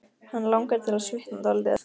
Hann langar til að svitna dálítið.